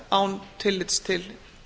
án tillits til